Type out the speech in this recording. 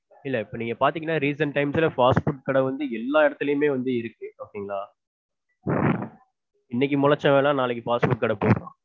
இல்ல இப்போ நீங்க பாத்தீங்கன்னா recent times ல fast food கடை வந்து எல்லா இடத்துலையுமே வந்து இருக்கு. okay ங்களா? இன்னைக்கு மொளச்சவன்லாம் நாளைக்கு fast food கடை போடறான்.